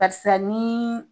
Karisa ni